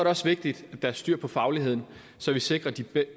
også vigtigt at der er styr på fagligheden så vi sikrer